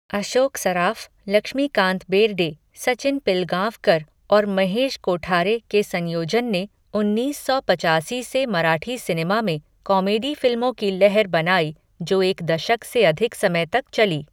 अशोक सराफ, लक्ष्मीकांत बेर्डे, सचिन पिलगाँवकर और महेश कोठारे के संयोजन ने उन्नीस सौ पचासी से मराठी सिनेमा में "कॉमेडी फिल्मों की लहर" बनाई जो एक दशक से अधिक समय तक चली।